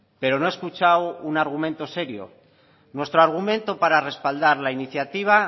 pero no he escuchado un argumento serio nuestro argumento para respaldar la iniciativa